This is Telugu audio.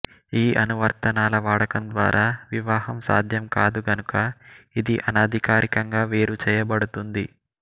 ఈ అనువర్తనాల వాడకం ద్వారా వివాహం సాధ్యం కాదు కనుక ఇది అనధికారికంగా వేరుచేయబడుతుంది